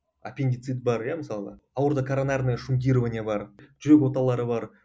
аппендицит бар иә мысалы ауруда коронарное шунтирование бар жүрек оталары бар